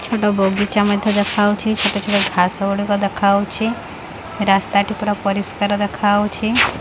ଛୋଟ ବଗିଚା ମଧ୍ୟ ଦେଖାଉଚି ଛୋଟ ଛୋଟ ଘାସ ଗୁଡିକ ଦେଖାଉଚି ରାସ୍ତା ଟି ପୁରା ପରିଷ୍କାର ଦେଖାଯାଉଛି।